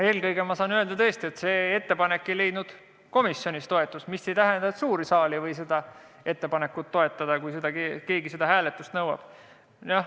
Eelkõige saan ma öelda tõesti seda, et see ettepanek ei leidnud komisjonis toetust, mis ei tähenda, et suur saal ei võiks seda ettepanekut toetada, kui keegi selle hääletamist nõuab.